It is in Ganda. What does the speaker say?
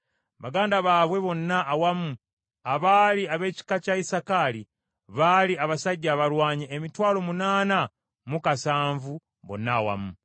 Baganda baabwe bonna awamu abaali ab’ekika kya Isakaali baali abasajja abalwanyi emitwalo munaana mu kasanvu bonna awamu.